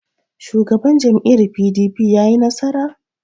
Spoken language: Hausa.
Shugaban jam'iyyar PDP ya yi nasara?